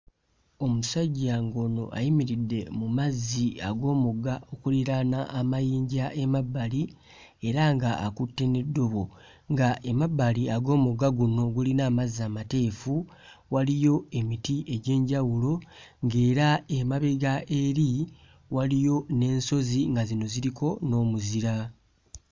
Omusajja ng'ono ayimiridde mu mazzi ag'omugga okuliraana amayinja emabbali era ng'akutte n'eddobo ng'emabbali ag'omugga guno ogulina amazzi amateefu waliyo emiti egy'enjawulo ng'era emabega eri waliyo n'ensozi nga zino ziriko n'omuzira.